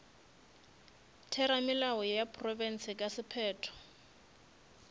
theramelao ya profense ka sephetho